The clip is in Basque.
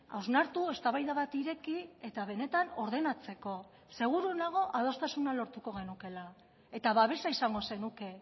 hausnartu eztabaida bat ireki eta benetan ordenatzeko seguru nago adostasuna lortuko genukeela eta babesa izango zenuke